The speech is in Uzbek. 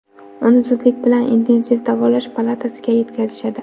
Uni zudlik bilan intensiv davolash palatasiga yetkazishadi.